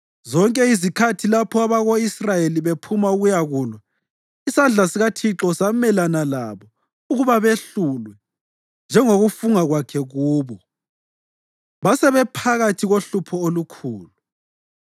Zonke izikhathi lapho abako-Israyeli bephuma ukuyakulwa, isandla sikaThixo samelana labo ukuba behlulwe, njengokufunga kwakhe kubo. Basebephakathi kohlupho olukhulu.